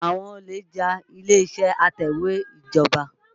Àwọn olè já ilé-ìṣẹ́ atẹ̀wẹ́ ìjọba.